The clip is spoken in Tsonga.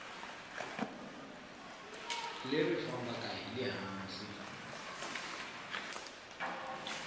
leri fambaka hi le hansi